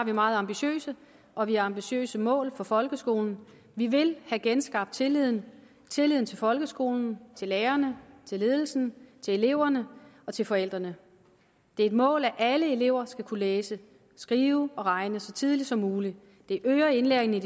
meget ambitiøse og vi har ambitiøse mål for folkeskolen vi vil have genskabt tilliden tilliden til folkeskolen til lærerne til ledelsen til eleverne og til forældrene det er et mål at alle elever skal kunne læse skrive og regne så tidligt som muligt det øger indlæringen i